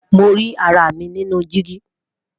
Mo ri ara mi ninu digi.